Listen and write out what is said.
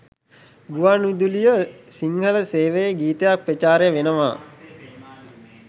ගුවන් විදුලියෙ සිංහල සේවයෙ ගීතයක් ප්‍රචාරය වෙනවා